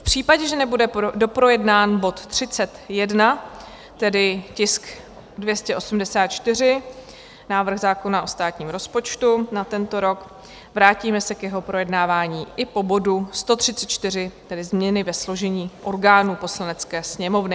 V případě, že nebude doprojednán bod 31, tedy tisk 284, návrh zákona o státním rozpočtu na tento rok, vrátíme se k jeho projednávání i po bodu 134, tedy Změny ve složení orgánů Poslanecké sněmovny.